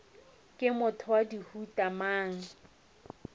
ke motho wa mohuta mang